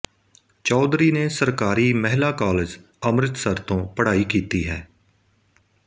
ਚੌਧਰੀ ਨੇ ਸਰਕਾਰੀ ਮਹਿਲਾ ਕਾਲਜ ਅੰਮ੍ਰਿਤਸਰ ਤੋਂ ਪੜ੍ਹਾਈ ਕੀਤੀ ਹੈ